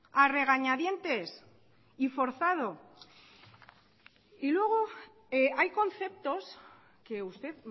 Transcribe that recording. a regañadientes y forzado y luego hay conceptos que usted